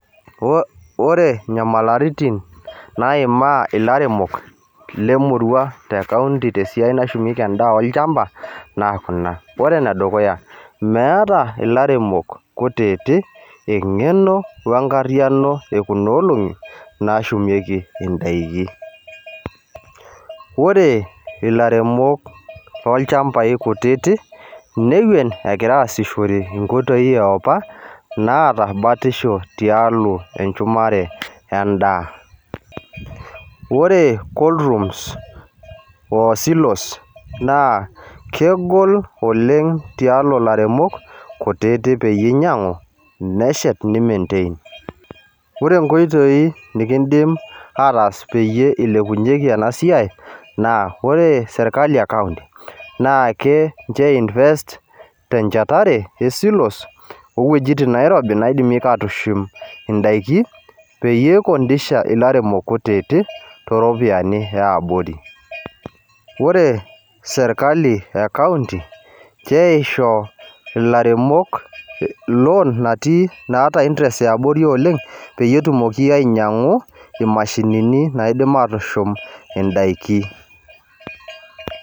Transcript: Ore nyamalaritin, naimaa ilaremok lemurua tekaunti tesiai nashumieki endaa olchamba, naa kuna. Ore enedukuya, meeta ilaremok kutitik eng'eno wenkarriyiano ekunoolong'i, nashumieki idaiki. Ore ilaremok lolchambai kutiti, inewuel egira aasishore inkoitoii eopa, naata batisho tialo enchumare endaa. Ore cola rooms o silos, naa kegol oleng tialo ilaremok kutitik peyie inyang'u, neshet ni maintain. Ore nkoitoii nikidim ataas peyie ilepunyeki enasiai, naa ore sirkali ekaunti, naake nche oi invest tenchetare e silos owuejiting nairobi naidimeka atushum idaiki, peyie ikondesha ilaremok kutitik, to ropiyiani eabori. Ore serkali ekaunti, keisho ilaremok loan naata interest eabori oleng, peyie etumoki ainyang'u imashinini naidim atushum idaiki.